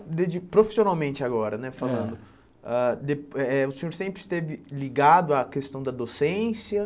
De de profissionalmente agora né falando Eh, Ah de eh eh o senhor sempre esteve ligado à questão da docência?